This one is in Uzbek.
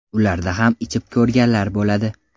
Ularda ham ichib ko‘rganlar bo‘ladi.